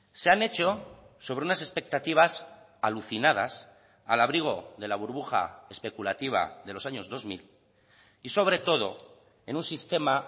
se han hecho sobre unas expectativas alucinadas al abrigo de la burbuja especulativa de los años dos mil y sobre todo en un sistema